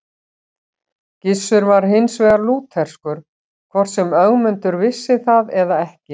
Gissur var hins vegar lútherskur, hvort sem Ögmundur vissi það eða ekki.